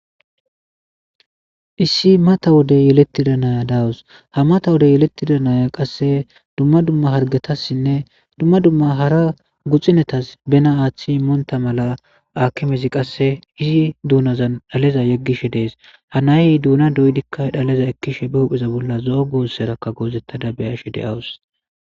issi mata wodey yelettida naya dawus ha mata wode yelettida naya qasse dumma dumma hargatassinne dumma dumma hara guxinetas bena aaththi moonta mala akimezi qasse izi duunazan dhaleza yeggishe dees hanayy duuna doydikka dhaleza ekkishe be hupheza bolla zo7o goosserakka goozettada beyashe deyawus